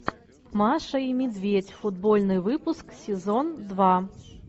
маша и медведь футбольный выпуск сезон два